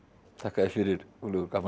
þakka þér fyrir Guðlaugur gaman að